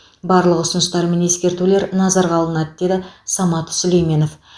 барлық ұсыныстар мен ескертулер назарға алынады деді самат сүлейменов